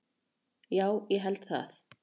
Já, ég held það